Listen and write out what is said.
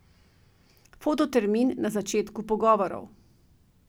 Fototermin na začetku pogovorov.